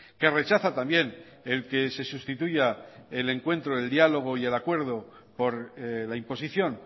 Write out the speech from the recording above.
que rechaza también el que se sustituya el encuentro el diálogo y el acuerdo por la imposición